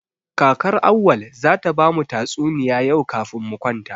Kakar Auwal zata ba mu tatsuniya yau kafin mu kwanta.